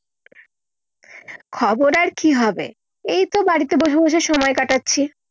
খবর আর কি হবে এই তো বাড়িতে বসে বসে সময় কাটাচ্ছি।